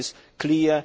That is clear.